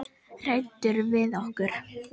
Hræddur við okkur?